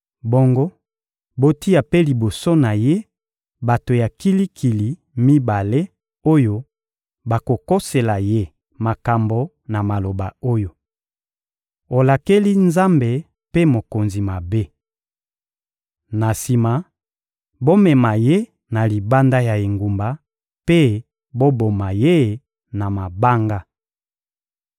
Bongo botia mpe liboso na ye bato ya kilikili mibale oyo bakokosela ye makambo na maloba oyo: ‹Olakeli Nzambe mpe mokonzi mabe!› Na sima, bomema ye na libanda ya engumba mpe boboma ye na mabanga.»